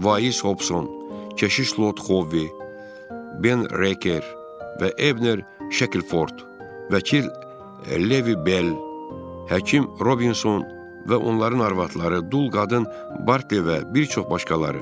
Vaiz Hobson, keşiş Lot Hovi, Ben Reyker və Ebner Şekilford, vəkil Levi Bell, həkim Robinson və onların arvadları, dul qadın Barte və bir çox başqaları.